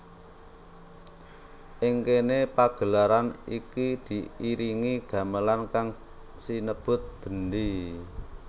Ing kéné pagelaran iki diiringi gamelan kang sinebut bendhé